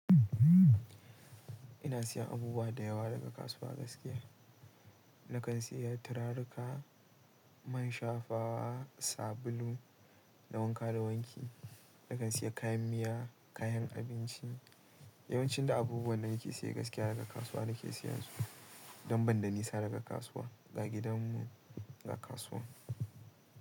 Ina sayan abubuwa da yawa daga kasuwa gaskiya. Nakan sayi turaruka, man shafawa, sabulu na wanka da wanki. Nakan saya kayan miya, kayan abinci. Yawancin da abubuwan da nake saya gaskiya daga kasuwa nake sayan su don ban da nisa daga kasuwa, ga gidan mu ga kasuwa.